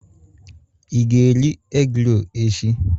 Ị ga-eri egi-rol echi?